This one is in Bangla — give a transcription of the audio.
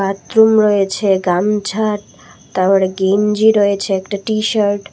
বাথরুম রয়েছে গামছা তারপর গেঞ্জি রয়েছে একটা টিশার্ট --